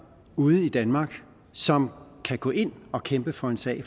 ude i danmark som kan gå ind og kæmpe for en sag